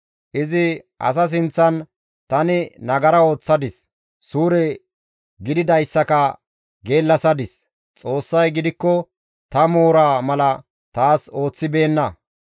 Izi asa sinththan, ‹Tani nagara ooththadis; suure gididayssaka geellasadis. Xoossay gidikko ta moora mala taas ooththibeenna.